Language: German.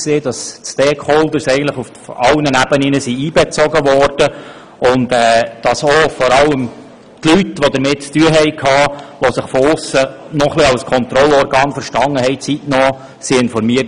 Die Stakeholder wurden eigentlich auf allen Ebenen einbezogen, und es wurden vor allem auch diejenigen Leute, die damit zu tun hatten und sich ein wenig als Kontrollorgan von aussen verstanden, zeitnah informiert.